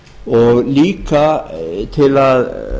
og líka til að